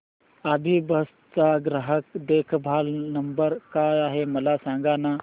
अभिबस चा ग्राहक देखभाल नंबर काय आहे मला सांगाना